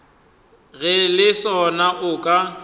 ge le sona o ka